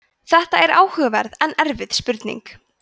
þetta er áhugaverð en erfið spurning